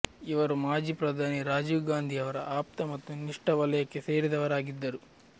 ಇವರು ಮಾಜಿ ಪ್ರಧಾನಿ ರಾಜೀವ್ ಗಾಂಧಿ ಅವರ ಆಪ್ತ ಮತ್ತು ನಿಷ್ಠ ವಲಯಕ್ಕೆ ಸೇರಿದವರಾಗಿದ್ದರು